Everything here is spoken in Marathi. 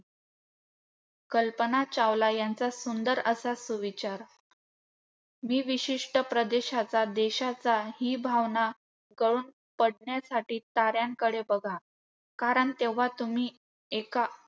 कल्पना चावला यांचा सुंदर असा सुविचार. मी विशिष्ट प्रदेशाचा, देशाचा ही भावना गळून पडण्यासाठी ताऱ्यांकडे बघा, कारण तेव्हा तुम्ही एका